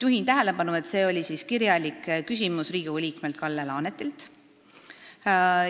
" Juhin tähelepanu, et see oli kirjalik küsimus Riigikogu liikmelt Kalle Laanetilt.